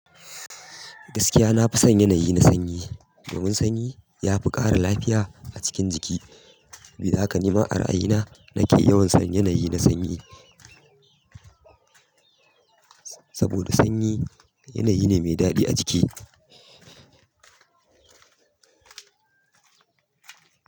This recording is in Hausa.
Gaskiya nafi son yanayi na sanyi, domin sanyi yafi ƙara lafiya a cikin jiki. Sabida haka ni ma a ra'ayi na nake yawan son yanayi na sanyi. Saboda sanyi yanayi ne mai daɗi ajiki.